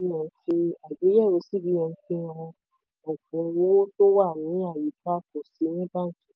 àgbéyẹ̀wò cbn fi àgbéyẹ̀wò cbn fi hàn: ọ̀pọ̀ owó tó wà ní àyíká kò sí ní báńkì.